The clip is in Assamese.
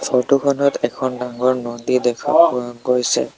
ফৰটো খনত এখন ডাঙৰ নদী দেখা পোৱা গৈছে।